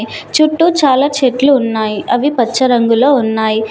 చుట్టూ చాలా చెట్లు ఉన్నాయ్ అవి పచ్చ రంగులో ఉన్నాయ్.